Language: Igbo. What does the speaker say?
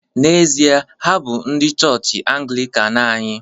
N’ezie, ha bụ ndị chọọchị Anglịkan anyị